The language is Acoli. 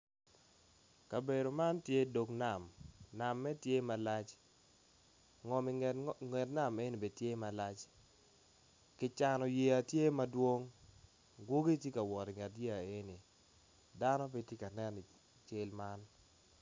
Kabedo man tye dog nam name tye malac ngom i nget nam meno tye ma lac kicano yeya tye madwong gwogi tye ka wot i nget yeya meno ddano pe tye kanen i cal man.